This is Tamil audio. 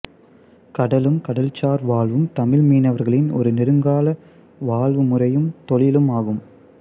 கடலும் கடல்சார் வாழ்வும் தமிழ் மீனவர்களின் ஒரு நெடுங்கால வாழ்வு முறையும் தொழிலும் அகும்